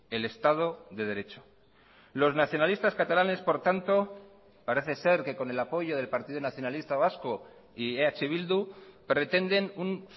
el estado de derecho los nacionalistas catalanes por tanto parece ser que con el apoyo del partido nacionalista vasco y eh bildu pretenden un